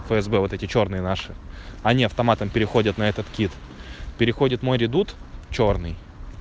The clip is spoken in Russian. фсб вот эти чёрные наши они автоматом переходит на этот кит переходит мой редут чёрный